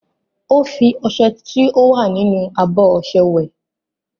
Ó ń fi ọṣẹ tí ó wà nínú abọ́ ọṣẹ wẹ̀.